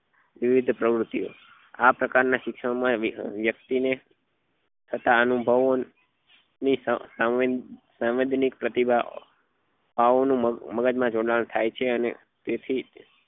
વ્યર્થ પ્રવૃતિઓ આ પ્રકાર ના શિક્ષણ માં વ્યકક્તિ ને થતા અનુભવો ની સાંવ સાવેન્દ સંવેદ્નીક પ્રતિભા ઓ નું મગજ માં જન્મ થાય છે ને તેથી